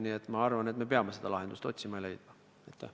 Nii et ma arvan, et peame seda lahendust otsima ja selle ka leidma.